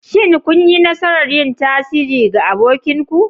Shin kun yi nasarar yin tasiri ga abokinku.